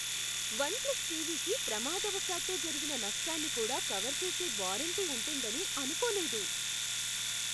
One plus టీవీకి ప్రమాదవశాత్తు జరిగిన నష్టాన్ని కూడా కవర్ చేసే వారంటీ ఉంటుందని అనుకోలేదు.